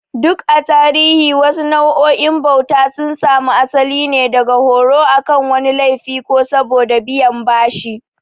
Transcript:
Duk a tarihi, wasu nau'o'in bauta sun samu asali ne daga horo akan wani laifi ko saboda biyan bashi.